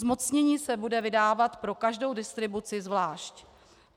Zmocnění se bude vydávat pro každou distribuci zvlášť.